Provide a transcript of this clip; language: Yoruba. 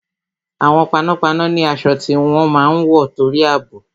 Àwọn panápaná ni aṣọ tí wọ́n máa ń wọ torí àbò